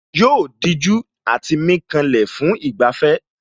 Yóò dijú àti mí kanlẹ̀ fún ìgbafẹ́